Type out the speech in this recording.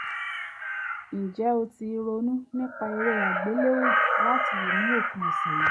ǹjẹ́ o ti ronú nípa eré àgbéléwò láti wò ní òpin ọ̀sẹ̀ yìí?